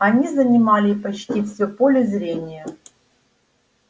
они занимали почти все поле зрения